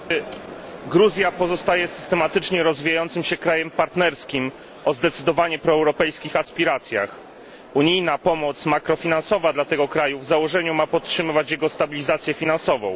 Panie Przewodniczący! Gruzja pozostaje systematycznie rozwijającym się krajem partnerskim o zdecydowanie proeuropejskich aspiracjach. Unijna pomoc makrofinansowa dla tego kraju w założeniu ma podtrzymywać jego stabilizację finansową.